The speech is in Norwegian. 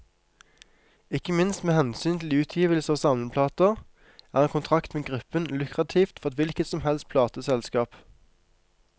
Ikke minst med hensyn til utgivelse av samleplater, er en kontrakt med gruppen lukrativt for et hvilket som helst plateselskap.